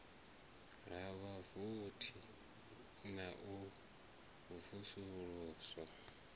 ha vhavothi na u vusuluswa